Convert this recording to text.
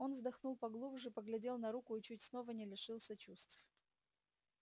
он вдохнул поглубже поглядел на руку и чуть снова не лишился чувств